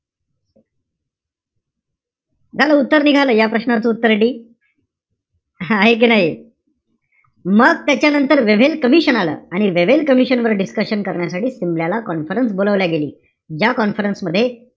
झालं उत्तर निघालं. या प्रश्नाचं उत्तरे D आहे कि नाई? मग त्याच्यानंतर वेव्हेल कमिशन आलं. आणि वेव्हेल कमिशन वर discussion करण्यासाठी सिमल्याला conference बोलावली गेली. ज्या conference मध्ये,